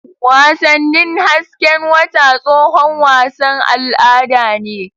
Wasannin hasken wata tsohon wasan al'ada ne.